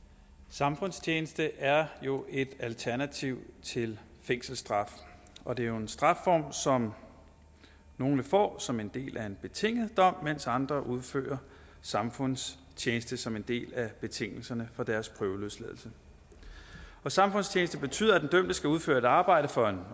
samfundstjeneste er jo et alternativ til fængselsstraf og det er en strafform som nogle får som en del af en betinget dom mens andre udfører samfundstjeneste som en del af betingelserne for deres prøveløsladelse og samfundstjeneste betyder at den dømte skal udføre et arbejde for en